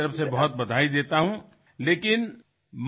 মোৰ তৰফৰ পৰা আপোনাক অশেষ ধন্যবাদ জ্ঞাপন কৰিছো